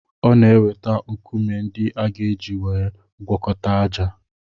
Ọ na-eweta nkume ndị a ga-eji gwọkọta ájá.